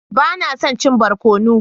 Ba na son cin barkono.